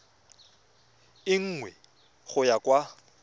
e nngwe go ya kwa